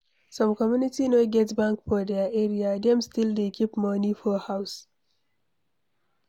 Some community no get bank for their area, dem still dey keep money for house.